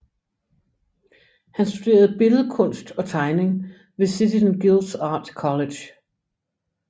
Han studerede billedkunst og tegning ved City and Guilds Art College